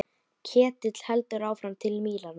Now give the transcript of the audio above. Ketill heldur áfram til Mílanó.